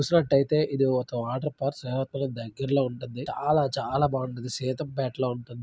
ఇక్కడ చూసినట్టయితే ఇది ఒక వాటర్ ఫాల్స్ ఆహ త డైకిలా దగ్గర లో వుంటుంది.